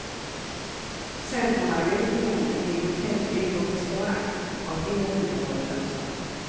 Centrumanläggningen med hotelldel och restaurang har hela tiden varit lönsam.